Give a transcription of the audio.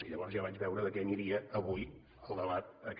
i llavors ja vaig veure de què aniria avui el debat aquest